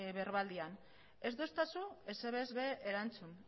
berbaldian ez didazu ezer ere ez ere erantzun